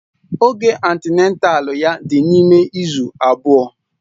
Oge antịnátál ya dị n'ime izu abụọ